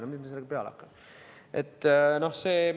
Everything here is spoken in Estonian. No mis me sellega peale hakkame?